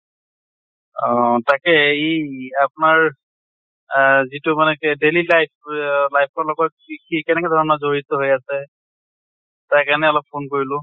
অ তাকে ই আপোনাৰ আহ যিটো মানে কি daily life অহ life ৰ লগত কি কি কেনেকে ধৰণৰ জড়িত আছে তাৰ কাৰণে অলপ phone কৰিলোঁ।